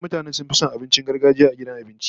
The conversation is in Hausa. Wasu mutane sun fi son abincin gargajiya a gidan abinci